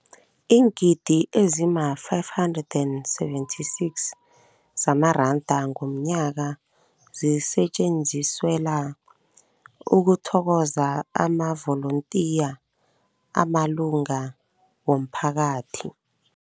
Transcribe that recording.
Iingidi ezima-576 zamaranda ngomnyaka zisetjenziselwa ukuthokoza amavolontiya amalunga womphakathi.